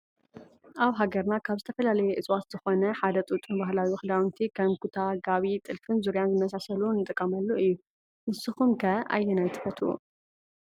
አብ ሃገርና ካብ ዝተፈላለየ እፅዋት ዝኮነ ሐደ ጡጥ ንባህላዊ ክዳውንቲ ከም ኩታ፣ ጋቢ፣ ጥልፍ፣ ዙርያ ዝመሳሰሉ እንጥቀመሉ እዮ ። ንስኩም ከ አየናይ ንፈቱ?